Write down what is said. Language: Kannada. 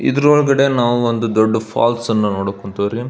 ಇದರ ಒಳಗಡೆ ನಾವು ಒಂದು ದೊಡ್ಡ ಫಾಲ್ಸ್ ಅನ್ನಾ ನೋಡಾಕ್ ಕುಂತೀವ್ರಿ.